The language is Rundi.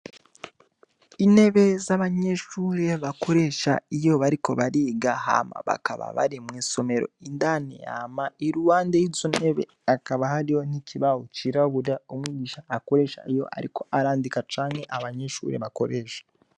Intebe zabanyeshure bakoresha iyo bariko bariga hama bakaba bari mwisomero indani hama iruhande yisomero hariho ikibaho cirabura umwigisha akoresha Ariko arandika canke abanyeshure bakoresha.